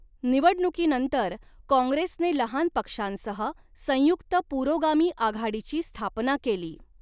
निवडणुकीनंतर काँग्रेसने लहान पक्षांसह संयुक्त पुरोगामी आघाडीची स्थापना केली.